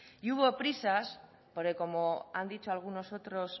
y hubo prisas porque como han dicho algunos otros